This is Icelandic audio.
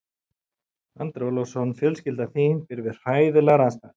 Andri Ólafsson: Fjölskylda þín býr við hræðilegar aðstæður?